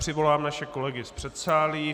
Přivolám naše kolegy z předsálí.